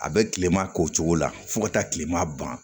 A bɛ tilema k'o cogo la fo ka taa kilema ban